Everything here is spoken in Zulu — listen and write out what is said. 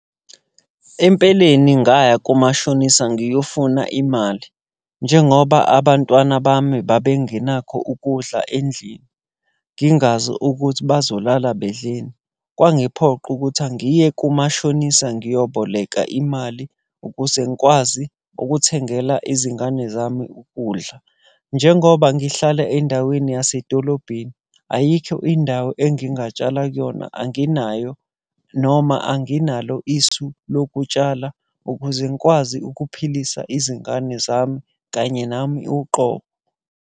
Empeleni ngaya kumashonisa ngiyofuna imali, njengoba abantwana bami babengenakho ukudla endlini, ngingazi ukuthi bazolala bedleni. Kwangiphoqa ukuthi angiye kumashonisa ngiyoboleka imali ukuze ngikwazi ukuthengela izingane zami ukudla. Njengoba ngihlala endaweni yasedolobheni, ayikho indawo engingatshala kuyona anginayo. Noma anginalo isu lokutshala ukuze ngikwazi ukuphilisa izingane zami kanye nami uqobo.